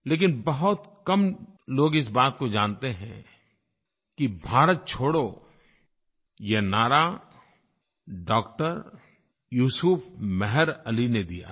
लेकिन बहुत कम लोग इस बात को जानते हैं कि भारत छोड़ो ये नारा डॉ यूसुफ़ मेहर अली ने दिया था